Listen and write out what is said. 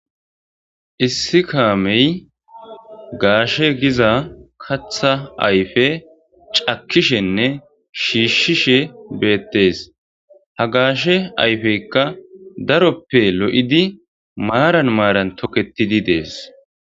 issi kaamey gaashe giza katha ayfe cakishenne shiishshishe beettees ha gaashe ayfeykka daroppe lo7idi maaran maaran toketidi dees